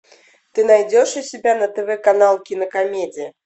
ты найдешь у себя на тв канал кинокомедия